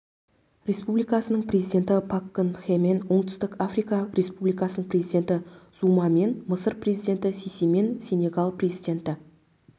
республикасының президенті пак кын хемен оңтүстік африка республикасының президенті зумамен мысыр президенті сисимен сенегал президенті